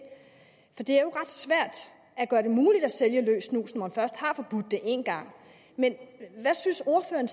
for det er jo ret svært at gøre det muligt at sælge løst snus når man først har forbudt det én gang men hvad synes ordføreren